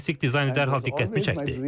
Lakin klassik dizaynı dərhal diqqətimi çəkdi.